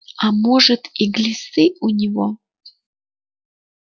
а может и глисты у него